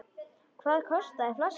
Hvað kostar flaskan hjá þér?